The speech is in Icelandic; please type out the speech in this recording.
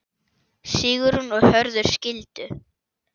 Sigrún og Hörður skildu.